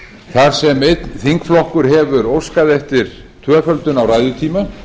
þar sem einn þingflokkur hefur óskað eftir tvöföldun á ræðutíma